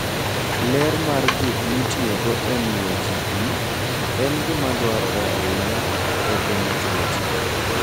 Ler mar gik mitiyogo e miyo ji pi en gima dwarore ahinya e geng'o tuoche.